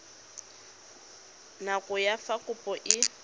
nako ya fa kopo e